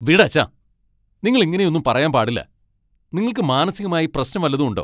വിടച്ഛാ. നിങ്ങൾ ഇങ്ങനെയൊന്നും പറയാൻ പാടില്ല. നിങ്ങൾക്ക് മാനസികമായി പ്രശ്നം വല്ലതും ഉണ്ടോ?